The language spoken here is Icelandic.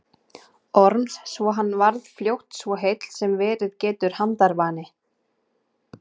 Orms svo hann varð fljótt svo heill sem verið getur handarvani.